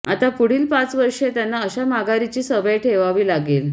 आता पुढील पाच वर्षे त्यांना अशा माघारीची सवय ठेवावी लागेल